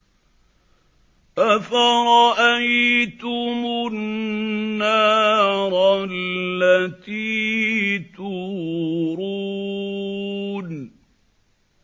أَفَرَأَيْتُمُ النَّارَ الَّتِي تُورُونَ